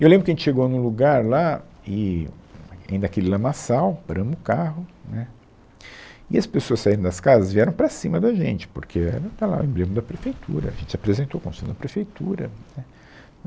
E eu lembro que a gente chegou num lugar lá e, ainda aquele lamaçal, paramos o carro né, e as pessoas saíram das casas vieram para cima da gente, porque era, está lá, o emblema da prefeitura, a gente se apresentou como sendo da prefeitura, né.